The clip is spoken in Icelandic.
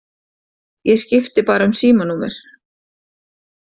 Ég skipti bara um símanúmer!